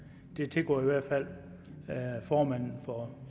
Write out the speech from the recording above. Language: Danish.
det tilgår i hvert fald formanden for